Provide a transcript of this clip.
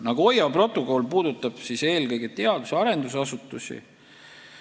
Nagoya protokoll puudutab eelkõige teadus- ja arendusasutusi.